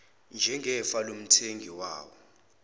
njengefa lomthengi wawo